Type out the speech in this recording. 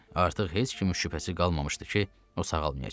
Artıq heç kimin şübhəsi qalmamışdı ki, o sağalmayacaq.